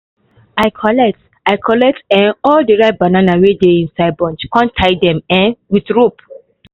i collect i collect um all the ripe banana wey no dey inside bunch con tie them um with rope